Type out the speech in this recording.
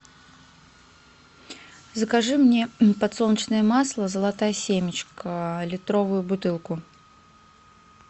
закажи мне подсолнечное масло золотая семечка литровую бутылку